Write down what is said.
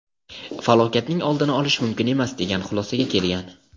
falokatning oldini olish mumkin emas degan xulosaga kelgan.